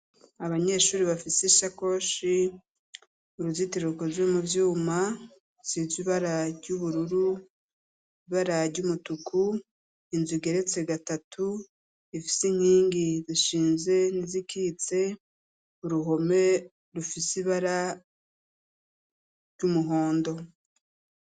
Abanyeshuri bafise ishakoshi uruzitiruko rwe mu byuma sitzu ibara ry'ubururu ibara jyumutuku inzu geretse gatatu ifise inkingi zishinze n'izikitse uruhome rufise bara ry'umuhondo.